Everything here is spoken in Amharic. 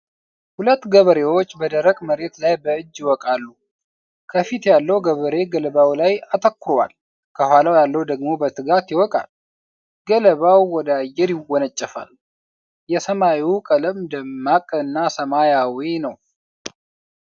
ሁለት ገበሬዎች በደረቅ መሬት ላይ በእጅ ይወቃሉ። ከፊት ያለው ገበሬ ገለባው ላይ አተኩሯል፤ ከኋላው ያለው ደግሞ በትጋት ይወቃል። ገለባው ወደ አየር ይወነጨፋል። የሰማዩ ቀለም ደማቅ ሰማያዊ ነው።